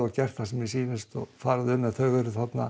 gert hvað sem mér sýnist og farið um en þau eru þarna